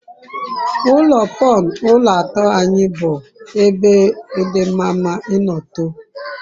ulo pun ulo ato anyi bu bu ebe di mama ino too